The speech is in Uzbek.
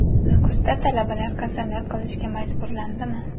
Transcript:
Nukusda talabalar qasamyod qilishga majburlandimi?.